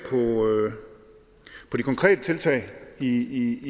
på de konkrete tiltag i